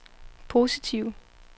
positive